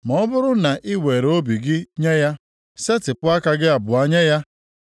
“Ma ọ bụrụ na i were obi gị nye ya, setịpụ aka gị abụọ nye ya,